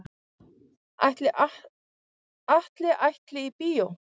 Ætli Atli ætli í bíó?